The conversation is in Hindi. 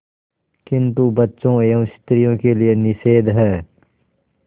किंतु बच्चों एवं स्त्रियों के लिए निषेध है